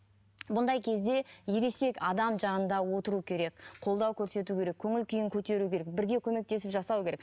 бұндай кезде ересек адам жанында отыру керек қолдау көрсету керек көңіл күйін көтеру керек бірге көмектесіп жасау керек